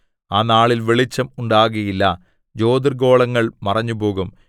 ആ നാളിൽ വെളിച്ചം ഉണ്ടാകയില്ല ജ്യോതിർഗ്ഗോളങ്ങൾ മറഞ്ഞുപോകും